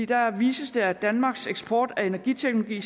der vises at danmarks eksport af energiteknologi i